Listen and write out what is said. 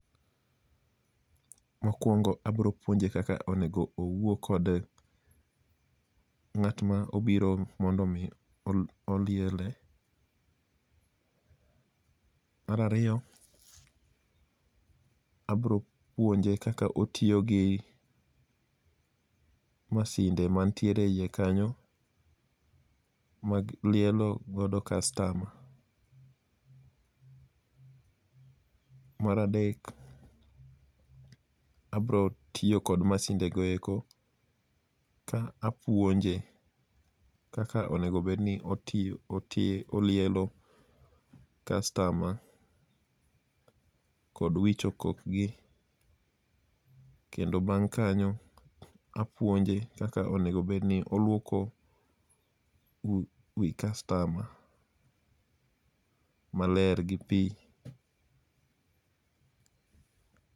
Mokwongo abro puonje kaka onego owuo kod ng'at ma obiro mondo omi oliele. Mar ariyo, abro puonje kaka otiyo gi masinde mantiere e iye kanyo, mag lielo godo kastama. Mar adek, abro tiyo kod masindego eko ka apuonje kaka onego obedni olielo kastama kod wicho kokgi, kendo bang' kanyo, apuonje kaka onego obedni olwoko wi kastama maler gi pi .